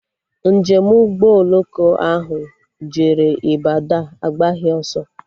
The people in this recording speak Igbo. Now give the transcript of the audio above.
Njem Ụgbọ oloko ahụ jere Ịbadọ agbaghị ọsọ